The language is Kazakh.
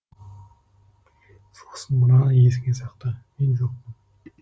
сосын мынаны есіңе сақта мен жоқпын